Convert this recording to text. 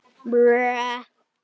Jóhannes: Og hvernig hefur gengið?